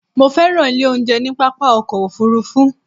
Mo fẹ́ràn ilé oúnjẹ ní pápá ọkọ̀ òfurufú